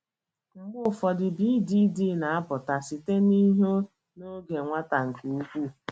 Mgbe ụfọdụ, BDD na-apụta site ihe n’oge nwata nke ukwuu.